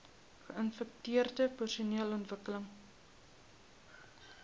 geinfekteerde persone ontwikkel